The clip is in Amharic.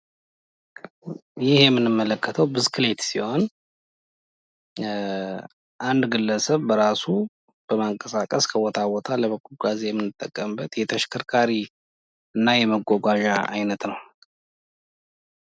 ይህ የምንመለክተው ብስክሌት ሲሆን አንድ ግለሰብ በራሱ ከቦታ ቦታ ለመጓጓዝ የምንጠቀምበት የተሸከርካሪ እና መጓጓዣ አይነት ነው።